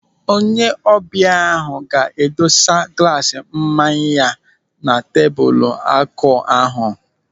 Onye ọbịa ahụ ga-edosa glaas mmanya ya na tebụl akụ ahụ.